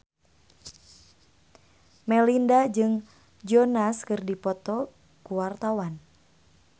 Melinda jeung Joe Jonas keur dipoto ku wartawan